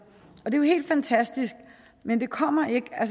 og det er jo helt fantastisk men det kommer ikke af